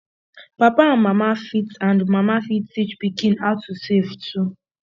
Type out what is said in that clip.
papa and mama fit and mama fit teach pikin how to save too